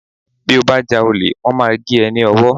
Bí o bá já ole, wón máa gé e ní ọwọ́